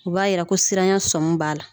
U b'a yira ko siranya sɔmi b'a la